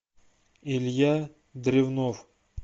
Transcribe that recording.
илья древнов